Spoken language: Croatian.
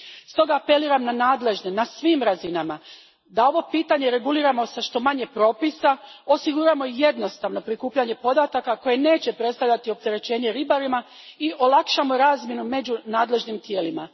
Stoga apeliram na nadležne na svim razinama da ovo pitanje reguliramo sa što manje propisa, osiguramo jednostavno prikupljanje podataka koje neće predstavljati opterećenje ribarima i olakšamo razmjenu među nadležnim tijelima.